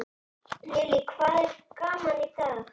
Lillý: Hvað er gaman í dag?